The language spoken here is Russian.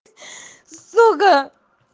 сука